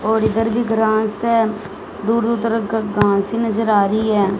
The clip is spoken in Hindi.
और इधर भी ग्रास से दूर दूर तक घास ही नजर आ रही है।